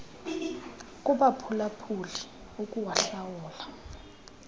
kubaphula phuli ukuwahlula